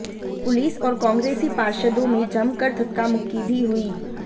police और कांग्रेसी पार्षदों में जमकर धक्कामुक्की भी हुई